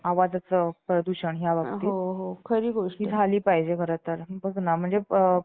आम्ही आमच्या कामाची वाटणी केली आणि त्यांच्या doctors नी वारंवार दात घासण्याचे सांगतं आहेत, हे असा प्रचार करण्याची आम्ही